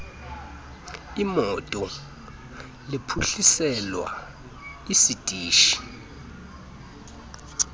iimoto liphuhliselwa isitishi